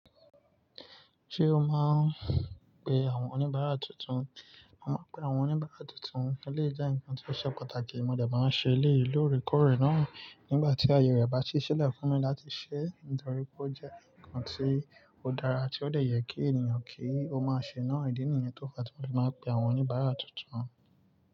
Ṣé o máa ń pe àwọn oníbàárà tuntun? Máa ń pe àwọn oníbàárà tuntun, ó lè jẹ́ ǹkan tí ó ṣe pàtàkì. Mo dẹ̀ bá máa ń ṣe eléyì lórekórè náà nígbà tí àyè rẹ bá ṣì sílẹ̀ fúnmí láti ṣẹ́ nítorí pé ó jẹ́ ǹkan tí ó dára tí ó dẹ̀ yẹ kí ènìyàn kí ó máa ṣe náà. Ìdí nìyẹn tó fá tí mo fi máa pe àwọn oníbàárà tuntun.